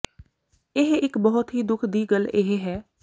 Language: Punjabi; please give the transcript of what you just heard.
ਇਹ ਇੱਕ ਬਹੁਤ ਹੀ ਦੁੱਖ ਦੀ ਗੱਲ ਇਹ ਹੈ